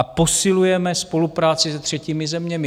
A posilujeme spolupráci se třetími zeměmi.